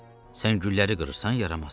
Sən gülləri qırırsan yaramaz.